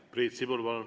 Priit Sibul, palun!